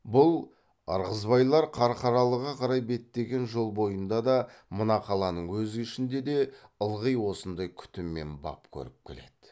бұл ырғызбайлар қарқаралыға қарай беттеген жол бойында да мына қаланың өз ішінде де ылғи осындай күтім мен бап көріп келеді